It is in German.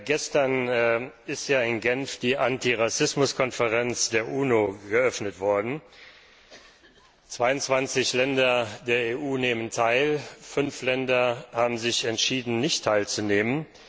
Gestern ist in Genf die Anti Rassismus Konferenz der UNO eröffnet worden. 22 Länder der EU nehmen teil, 5 Länder haben sich entschieden, nicht teilzunehmen.